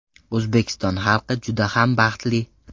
O‘zbekiston xalqi juda ham baxtli.